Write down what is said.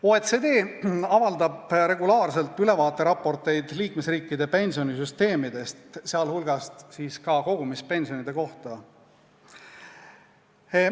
OECD avaldab regulaarselt ülevaateraporteid liikmesriikide pensionisüsteemide, sealhulgas kogumispensioni kohta.